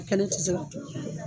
Kɛlen ti se ka